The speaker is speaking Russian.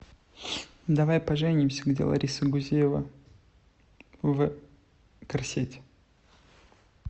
давай поженимся где лариса гузеева в корсете